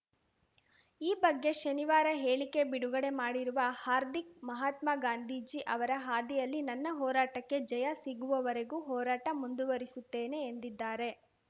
ಈ ಬಗ್ಗೆ ಶನಿವಾರ ಹೇಳಿಕೆ ಬಿಡುಗಡೆ ಮಾಡಿರುವ ಹಾರ್ದಿಕ್‌ ಮಹಾತ್ಮ ಗಾಂಧೀಜಿ ಅವರ ಹಾದಿಯಲ್ಲಿ ನನ್ನ ಹೋರಾಟಕ್ಕೆ ಜಯ ಸಿಗುವವರೆಗೂ ಹೋರಾಟ ಮುಂದುವರಿಸುತ್ತೇನೆ ಎಂದಿದ್ದಾರೆ